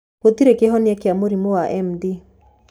Gũtirĩ kĩhonia kĩa mũrimũ wa MD.